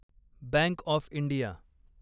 bank of India